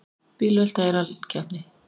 Bílvelta í rallkeppni